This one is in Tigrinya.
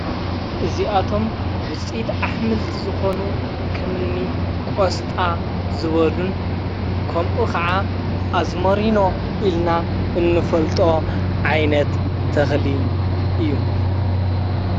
እዚኣቶም ውፅኢት ኣሕምልቲ ዝኾኑ ኸምኒ ቖስጣ ዝበሉን ከምኡ ኸዓ ኣዝሞሪኖ ኢልና እንፈልጦ ዓይነት ተኽሊ እዩ።